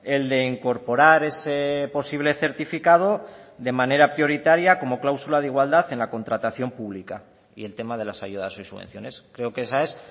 el de incorporar ese posible certificado de manera prioritaria como cláusula de igualdad en la contratación pública y el tema de las ayudas y subvenciones creo que esa es